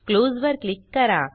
close वर click करा